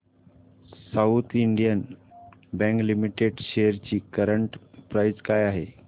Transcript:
south Indian bank limited shares ची current price काय आहे